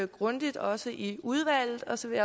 grundigt også i udvalget og så vil